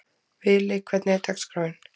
Vili, hvernig er dagskráin?